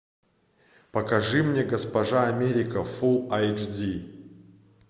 покажи мне госпожа америка фул айч ди